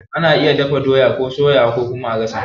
Ana iya dafa doya ko a soyawa ko kuma a gasawa.